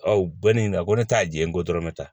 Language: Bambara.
u bɛ ne ɲininka ko ne t'a di yen ko dɔrɔmɛ ta